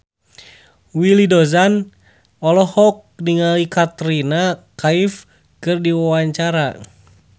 Willy Dozan olohok ningali Katrina Kaif keur diwawancara